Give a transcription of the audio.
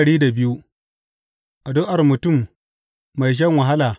Addu’ar mutum mai shan wahala.